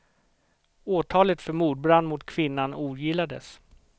Åtalet för mordbrand mot kvinnan ogillades.